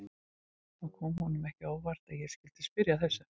Það kom honum ekki á óvart að ég skyldi spyrja að þessu.